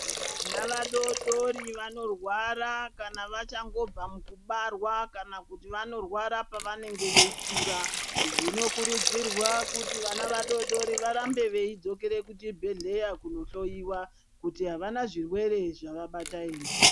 Vana vadodori vanorwara kana vachangobva mukubarwa kana kuti vanorwara pavanonge veikura zvinokurudzirwa kuti vana vadoodori varambe veidzokera kuchibhedhleya kunohloiwa kuti avana zvirwere zvavabata ere.